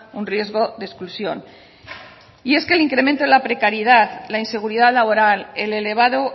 un riesgo de exclusión y es que el incremento de la precariedad la inseguridad laboral el elevado